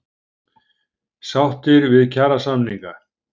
Sáttir við kjarasamninga